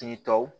Tigi tɔw